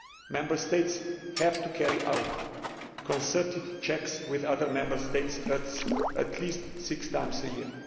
Member States have to carry out concerted checks with other Member States at least six times a year.